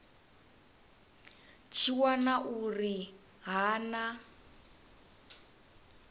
tshi wana uri ha na